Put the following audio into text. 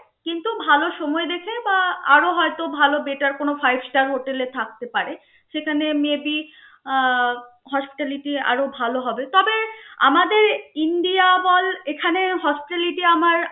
কিন্তু ভালো সময় দেখে বা আরো হয়তো ভালো better কোনো five star hotel এ থাকতে পারে. সেখানে may be আহ hospitality আরো ভালো হবে. তবে আমাদের ইন্ডিয়া বল এখানে hospitality আমার